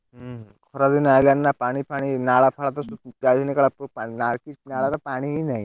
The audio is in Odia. ହୁଁ ଖରା ଦିନ ଆଇଲାଣି ନା ପାଣିଫାଣି ନାଳ ଫାଳ ତ ପାଣି ହିଁ ନାହିଁ।